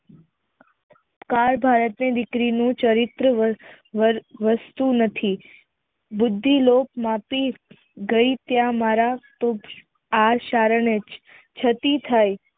કાળ ભારત ની દીકરીનું ચરિત્ર વસ્તુ નથી બુદ્ધિ લોકમાંથી ગઈ ક્યાં ક્યાંય આ કારણે જ સતી થઈ